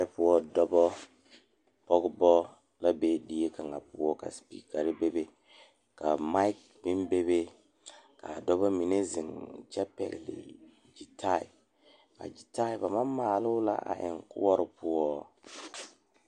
Dɔɔba ne Pɔgeba kaa pɔge nyoŋ dɔɔ nu ka katawiɛ Kyaara ka dɔɔ a su dagakparo ka pɔge a gyere wagye a le kodo kaa dɔɔba a gyere wagyere puo.